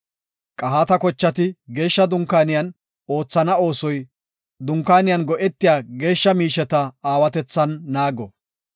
Qahaata kochati Geeshsha Dunkaaniyan oothana oosoy Dunkaaniyan go7etiya geeshsha miisheta aawatethan naago.